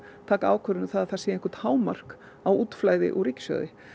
taka ákvörðun um það að það sé eitthvert hámark á útflæði úr ríkissjóði